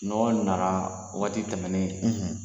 nana waati tɛmɛnen